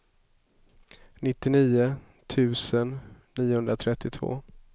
nittionio tusen niohundratrettiotvå